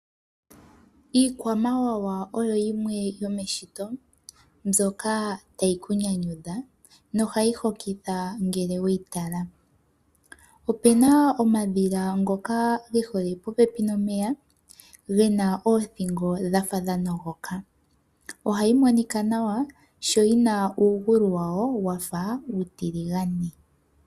Iikwamawawa oyo yimwe yomeshito , mbyoka tayikunyanyudha nohayihokitha ngele weyitala, opena omadhila ngoka ngehole popepi momeya, ngena othingo dhafa dhanogoka ohayimonika nawa sho yina ungulu wawo wafa utilingane.